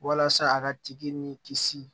Walasa a ka tigi ni kisi